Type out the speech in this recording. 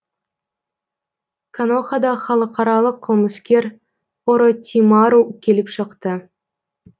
конохада халықаралық қылмыскер оротимару келіп шықты